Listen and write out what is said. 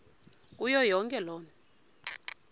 kuyo yonke loo